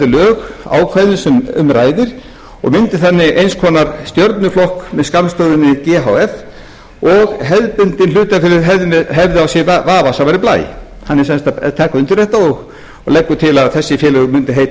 lög ákvæðum sem um ræðir og myndi þannig eins konar stjörnuflokkur með skammstöfuninni af og hefðbundin hlutafélög hefðu á sér vafasamari blæ hann er sem sagt að taka undir þetta og leggur til að þessi félög mundu heita e